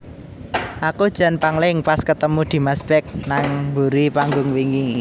Aku jan pangling pas ketemu Dimas Beck nang mburi panggung wingi